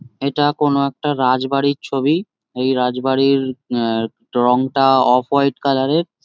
এটা কোনো একটা রাজবাড়ির ছবি। এই রাজবাড়ির আ রংটা অফ হোয়াট কালার -এর।